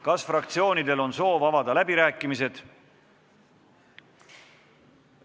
Kas fraktsioonidel on soov avada läbirääkimised?